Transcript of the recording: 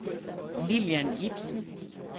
Lillian Ibsen